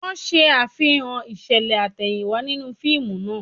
Wọ́n ṣe Àfihàn ìṣẹ̀lẹ̀ àtẹ̀yìnwá nínú fíìmù náà